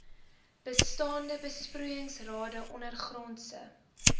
bestaande besproeiingsrade ondergrondse